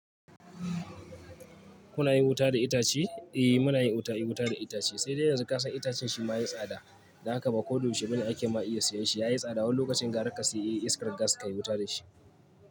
Kuna yin wuta da itace? Eh muna yin wuta, yi wuta da itace. Sai dai yanzu ka san itacen shi ma ya yi tsada. Don haka ba ko dayaushe bane ake ma iya siyan shi. Ya yi tsada, wani lokacin gara ka saya iskar gas ka yi wuta da shi.